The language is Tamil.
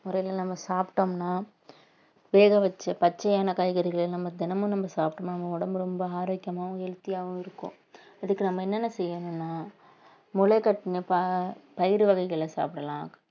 முறையில நம்ம சாப்பிட்டோம்ன்னா வேக வெச்ச பச்சையான காய்கறிகளை நம்ம தினமும் நம்ம சாப்பிடனும் நம்ம உடம்பு ரொம்ப ஆரோக்கியமாவும் healthy ஆவும் இருக்கும் இதுக்கு நம்ம என்னென்ன செய்யணும்ன்னா முளைகட்டின ப~ பயிறு வகைகளை சாப்பிடலாம்